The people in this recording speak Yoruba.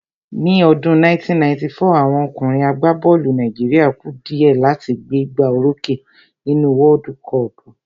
Ní ọdún 1994, àwọn ọkùnrin àgbá bọ́ọ̀lù Nàìjíríà ku dìẹ́ láti gbé gbá o rókè nínú wọ́ọ́dú kọọ̀pù